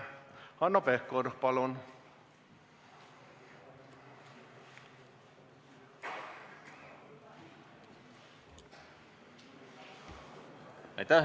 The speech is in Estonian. Hanno Pevkur, palun!